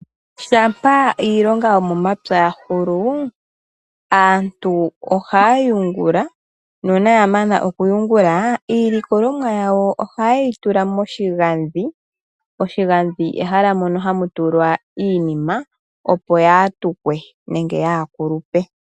Shampa iilonga yo momapya yahulu aantu ohaya yungula nuuna yamana okuyungula iilikolomwa yawo ohayeyi tula moshigandhi . Oshigandhi ehala mono hamu tulwa iinima opo kaayi tukwe nenge kaayi kulupe.